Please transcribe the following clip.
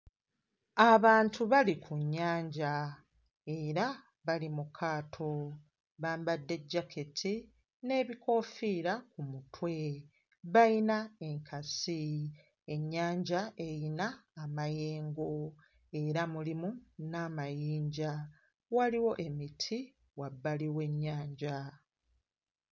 Abantu bali ku nnyanja era bali mu kaato, bambadde jaketi n'ebikoofiira ku mutwe, bayina enkasi, ennyanja eyina amayengo era mulimu n'amayinja; waliwo emiti wabbali w'ennyanja.